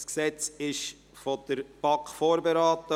Dieses Gesetz wurde von der BaK vorberaten.